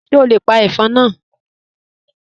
Ṣe o le pa ẹfọn naa?